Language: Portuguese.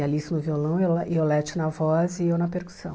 A Alice no violão, Iole Iolete na voz e eu na percussão.